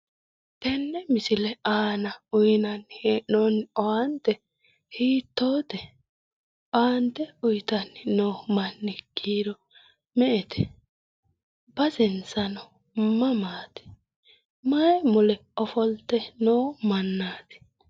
Tenne misile aana uyinani he'noni owaante hiittote? Owaante uyitani noo manni kiiro me'ete? Basensano mamati? Mayi mule ofolite noo mannati?